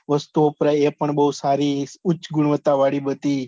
વસ્તુ વપરાય એ પણ બહુ સારી, ઉચ્ચ ગુન્વાત્તતા વાળી બધી